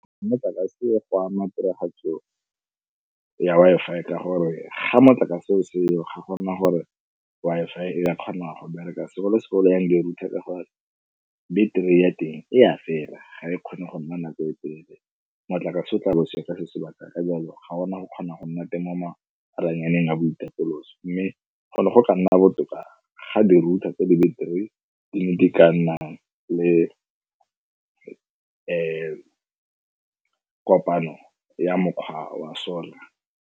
Motlakase go ama tiragatso ya Wi-Fi ka gore ga motlakase o se yo ga gona gore Wi-Fi e ka kgona go bereka segolo-segolo ya di-router ka gore battery ya teng e a fela ga e kgone go nna nako e telele, motlakase o tla bo o seyo sebaka ka jalo ga gona go kgona go nna teng mo maranyaneng a boitapoloso. Mme gone go ka nna botoka ga di-router tse di battery di ne ke ka nna le kopano ya mokgwa wa solar.